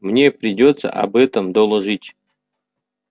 мне придётся об этом доложить